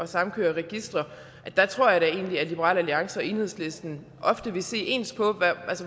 samkøre registre tror jeg da egentlig at liberal alliance og enhedslisten ofte vil se ens på